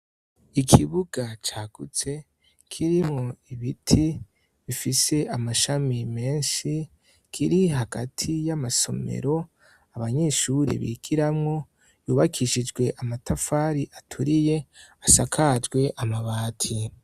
Ikibuga cagutse kirimwo ibiti bifise amashami menshi kiri hagati y'amasomero abanyeshuri bigiramwo yubakishijwe amatafari aturiye asakajwe amabati.